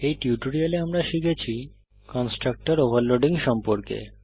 এই টিউটোরিয়ালে আমরা শিখেছি কন্সট্রাকটর ওভারলোডিং সম্পর্কে